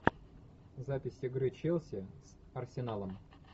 запись игры челси с арсеналом